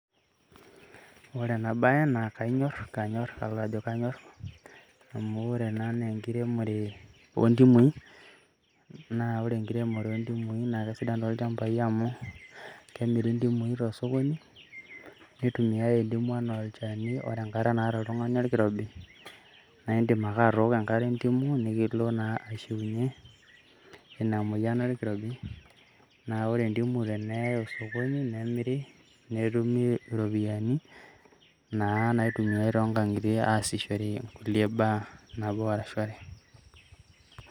Ore ena baye naa kanyorr, amu ore ena naa enkiremore oo ndimui naa ore enkiremore oo ndimui naa kesidan tolchambai amu kemiri ndimui toosokonini nitumiyai ndimu enaa olchani, ore enkata naata oltung'ani orkirobi naa akaidim ake atooko enkare ee ndimu nikilo taa aishiunyie ina moyian orkirobi naa ore ndimu teneyai osokoni naa kemiri netumi iropiyiani naa naitumiyai toonkang'itie aasie kulie baa nabo arashu are.